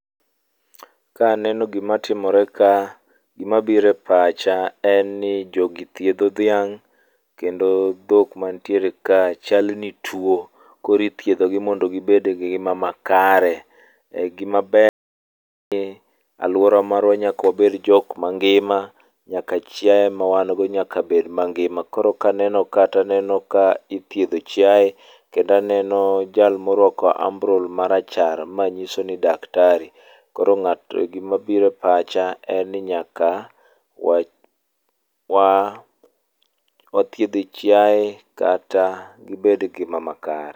Kaneno gimatimore ka, gima biro e pacha en ni jogi thiedho dhiang' kendo dhok manitiere ka chal ni tuwo, koro ithiedhogi mondo gibed gi ngima makare, alwora marwa nyaka wabed jok mangima, nyaka chiaye mawan go nyaka bed mangima koro kaneno kata aneno ka ithiedho chiaye, kendo aneno jal morwako ambrol marachar, ma nyiso ni daktari, koro gimabiro e pacha en ni nyaka wathiedh chiaye kata gibed gi gima makare.